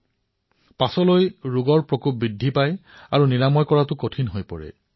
নহলে পিছলৈ ৰোগ অসাধ্য হৈ পৰে আৰু ইয়াৰ চিকিৎসাও কঠিন হৈ পৰে